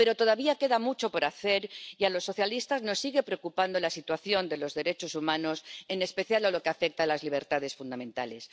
Pero todavía queda mucho por hacer y a los socialistas nos sigue preocupando la situación de los derechos humanos, en especial en lo que afecta a las libertades fundamentales.